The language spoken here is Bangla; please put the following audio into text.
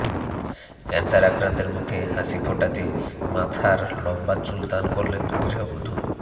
ক্যানসার আক্রান্তের মুখে হাসি ফোটাতে মাথার লম্বা চুল দান করলেন গৃহবধূ